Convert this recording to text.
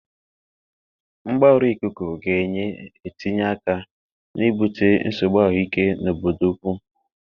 Mgbarụ ikuku ga-enye etinye aka na ibute nsogbu ahụike n'obodo ukwu.